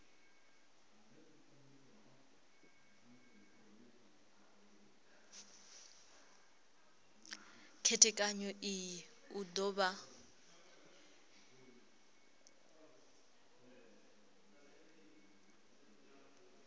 khethekanyo iyi u do vha